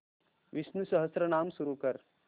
विष्णु सहस्त्रनाम सुरू कर